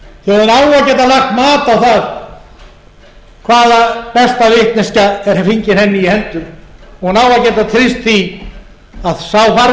að geta lagt mat á það hvaða besta vitneskja er fengin henni í hendur hún á að geta treyst